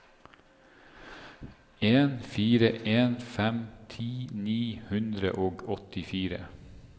en fire en fem ti ni hundre og åttifire